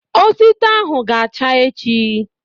Otito ahụ ga-acha echi